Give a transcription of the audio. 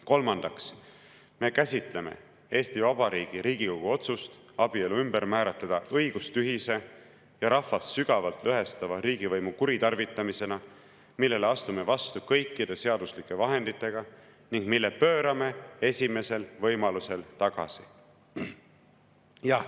Kolmandaks, me käsitleme Eesti Vabariigi Riigikogu otsust abielu ümber määratleda õigustühise ja rahvast sügavalt lõhestava riigivõimu kuritarvitamisena, millele astume vastu kõikide seaduslike vahenditega ning mille pöörame esimesel võimalusel tagasi.